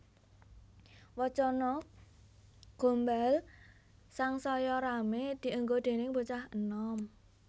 Wacana gombal sangsaya ramé dienggo déning bocah enom